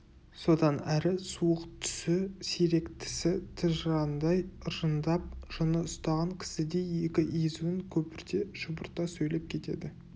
содан әрі суық түсі сирек тісі тыжыраңдай ыржыңдап жыны ұстаған кісідей екі езуін көпірте шұбырта сөйлеп кетеді